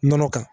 Nɔnɔ kan